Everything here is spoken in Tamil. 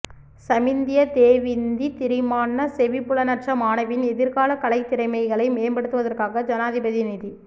சமிந்தியா தேவிந்தி திரிமான்ன செவிப்புலனற்ற மாணவியின் எதிர்கால கலைத்திறமைகளை மேம்படுத்துவதற்காக ஜனாதிபதி நிதி